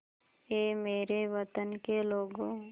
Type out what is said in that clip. ऐ मेरे वतन के लोगों